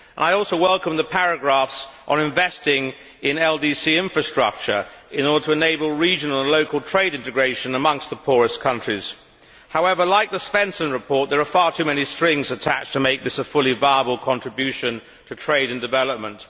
I also welcome the paragraphs on investing in LDC infrastructure in order to enable local and regional trade integration amongst the poorest countries. However, like the Svensson report, there are far too many strings attached to make this a fully viable contribution to trade and development.